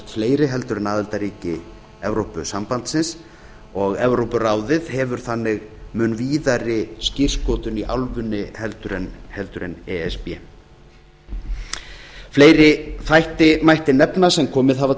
fleiri heldur en aðildarríki evrópusambandsins og evrópuráðið hefur þannig mun víðari skírskotun í álfunni heldur en e s b fleiri þætti mætti nefna sem komið hafa